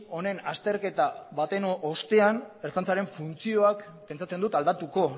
honen azterketa baten ostean ertzaintzaren funtzioak pentsatzen dut aldatuko